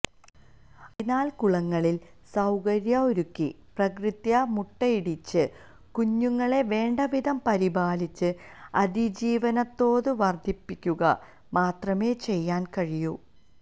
അതിനാല് കുളങ്ങളില് സൌകര്യം ഒരുക്കി പ്രകൃത്യാ മുട്ടയിടിച്ച് കുഞ്ഞുങ്ങളെ വേണ്ടവിധം പരിപാലിച്ച് അതിജീവനതോത് വര്ദ്ധിപ്പിക്കുക മാത്രമേ ചെയ്യാന് കഴിയൂ